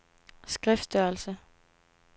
skriftstørrelse